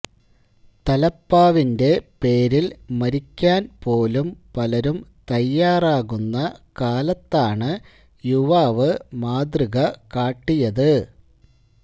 തലപ്പാവിന്റെ പേരിൽ മരിക്കാൻ പോലും പലരും തയ്യാറാകുന്ന കാലത്താണ് യുവാവ് മാതൃക കാട്ടിയത്